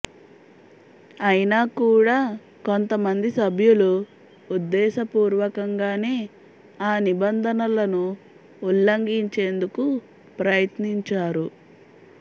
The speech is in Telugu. అయినా కూడా కొంతమంది సభ్యులు ఉద్దేశపూర్వకంగానే ఆ నిబంధనలను ఉల్లంఘించేందుకు ప్రయత్నించారు